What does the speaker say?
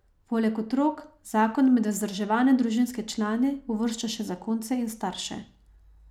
Poleg otrok zakon med vzdrževane družinske člane uvršča še zakonce in starše.